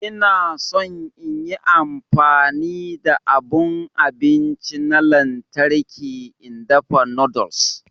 Ina son in yi amfani da abun abinci na lantarki in dafa noodles.